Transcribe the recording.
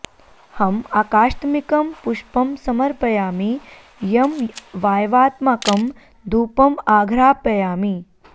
हम् आकाशत्मिकं पुष्पं समर्पयामि यं वाय्वात्मकं धूपं आघ्रापयामि